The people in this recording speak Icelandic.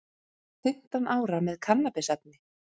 Fimmtán ára með kannabisefni